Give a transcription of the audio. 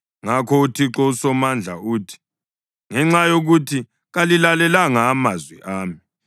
Ngakho uThixo uSomandla uthi: “Ngenxa yokuthi kalilalelanga amazwi ami,